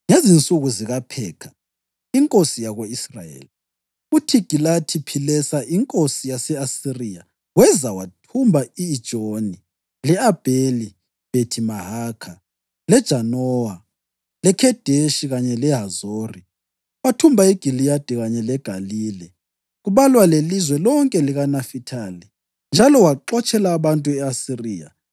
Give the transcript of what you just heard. Ngezinsuku zikaPhekha inkosi yako-Israyeli, uThigilathi-Philesa inkosi yase-Asiriya weza wathumba i-Ijoni, le-Abheli-Bhethi-Mahakha, leJanowa, leKhedeshi kanye leHazori. Wathumba iGiliyadi kanye leGalile, kubalwa lelizwe lonke likaNafithali njalo waxotshela abantu e-Asiriya.